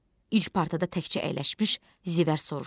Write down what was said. İlk partada təkcə əyləşmiş Zivər soruşdu.